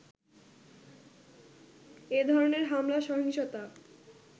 এ ধরনের হামলা-সহিংসতা